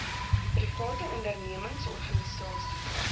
private ondernemings organisasies